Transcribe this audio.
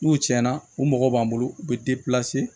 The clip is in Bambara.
N'u tiɲɛna u mɔgɔ b'an bolo u bɛ